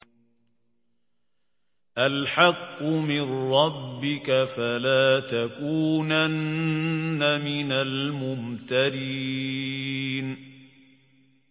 الْحَقُّ مِن رَّبِّكَ ۖ فَلَا تَكُونَنَّ مِنَ الْمُمْتَرِينَ